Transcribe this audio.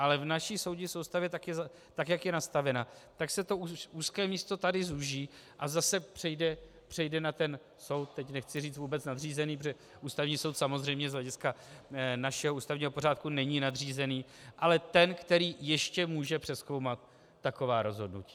Ale v naší soudní soustavě, tak jak je nastavena, tak se to úzké místo tady zúží a zase přejde na ten soud, teď nechci říct vůbec nadřízený, protože Ústavní soud samozřejmě z hlediska našeho ústavního pořádku není nadřízený, ale ten, který ještě může přezkoumat taková rozhodnutí.